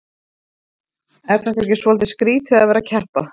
Er þetta ekki svolítið skrýtið að vera að keppa?